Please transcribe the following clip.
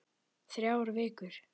Þrjár vikur.